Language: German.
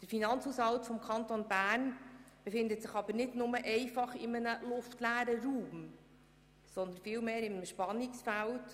Der Finanzhaushalt des Kantons Bern befindet sich aber nicht in einem luftleeren Raum, sondern vielmehr in einem Spannungsfeld.